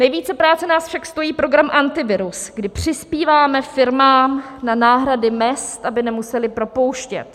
Nejvíce práce nás však stojí program Antivirus, kdy přispíváme firmám na náhrady mezd, aby nemusely propouštět.